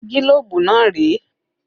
Gílóbú náà rèé